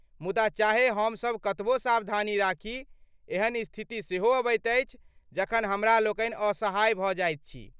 मुदा चाहे हमसब कतबो सावधानी राखी, एहन स्थिति सेहो अबैत अछि जखन हमरालोकनि असहाय भऽ जाइत छी।